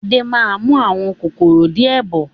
Adé máa mú àwọn kòkòrò di ẹ bọ̀